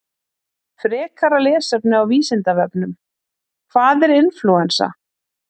Frekara lesefni á Vísindavefnum: Hvað er inflúensa?